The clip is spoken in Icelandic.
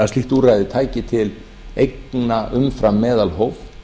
að slíkt úrræði tæki til eigna umfram meðalhóf